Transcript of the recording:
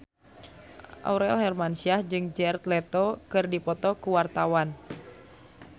Aurel Hermansyah jeung Jared Leto keur dipoto ku wartawan